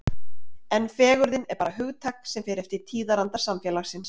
En fegurðin er bara hugtak sem fer eftir tíðaranda samfélagsins.